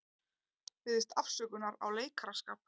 Biðst afsökunar á leikaraskap